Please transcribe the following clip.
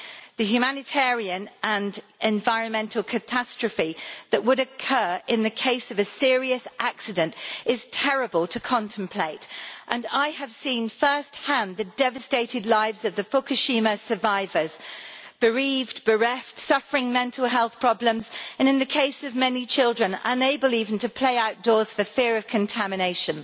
The humanitarian and environmental catastrophe that would occur in the case of a serious accident is terrible to contemplate, and I have seen first hand the devastated lives of the Fukushima survivors bereaved, bereft, suffering mental health problems, and in the case of many children unable even to play outdoors for fear of contamination.